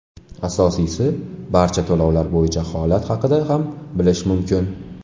Asosiysi, barcha to‘lovlar bo‘yicha holat haqida ham bilish mumkin.